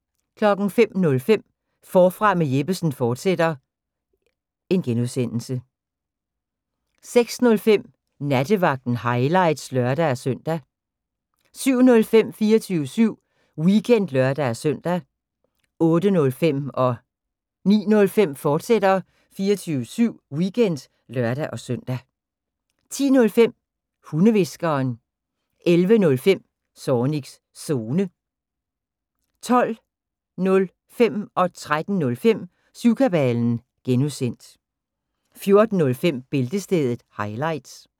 05:05: Forfra med Jeppesen fortsat (G) 06:05: Nattevagten – highlights (lør-søn) 07:05: 24syv Weekend (lør-søn) 08:05: 24syv Weekend, fortsat (lør-søn) 09:05: 24syv Weekend, fortsat (lør-søn) 10:05: Hundehviskeren 11:05: Zornigs Zone 12:05: Syvkabalen (G) 13:05: Syvkabalen (G) 14:05: Bæltestedet – highlights